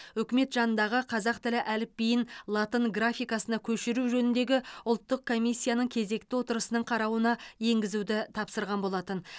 үкімет жанындағы қазақ тілі әліпбиін латын графикасына көшіру жөніндегі ұлттық комиссияның кезекті отырысының қарауына енгізуді тапсырған болатын